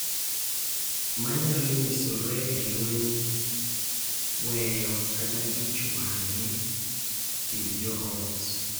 Manyalo nyisore e lweny, weyo, kata ich wang' e kind jo ot.